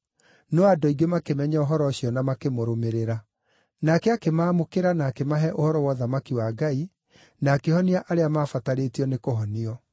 no andũ aingĩ makĩmenya ũhoro ũcio na makĩmũrũmĩrĩra. Nake akĩmaamũkĩra na akĩmahe ũhoro wa ũthamaki wa Ngai, na akĩhonia arĩa maabatarĩtio nĩ kũhonio.